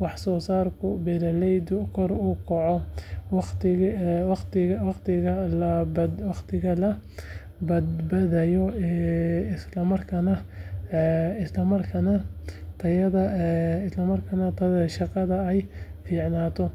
waxsoosaarka beeraleyda kor u kaco, waqtiga la badbaadiyo, islamarkaana tayada shaqada ay fiicnaato.